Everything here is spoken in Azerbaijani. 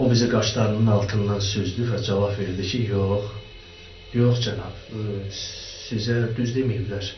O bizi qaşlarının altından süzdü və cavab verdi ki, yox, yox cənab, sizə düz deməyiblər.